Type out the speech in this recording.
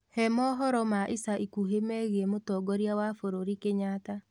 he mohoro ma ĩca ĩkũhĩ meegĩe mutongoria wa bururi kenyatta